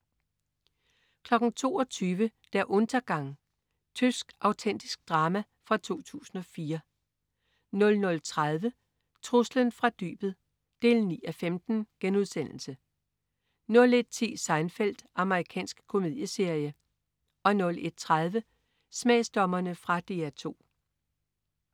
22.00 Der Untergang. Tysk autentisk drama fra 2004 00.30 Truslen fra dybet 9:15* 01.10 Seinfeld. Amerikansk komedieserie 01.30 Smagsdommerne. Fra DR 2